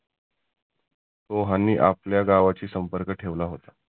दोहांनी आपल्या गावाचा संपर्क ठेवला होता.